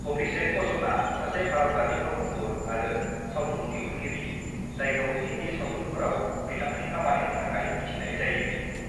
अभिषेक बच्चना सासे भारतारि फावखुंगुर आरो सावथुन दिहुनगिरि जायखौ हिन्दी सावथुनफोराव बिथांनि खामानिनि थाखाय मिथिनाय जायो।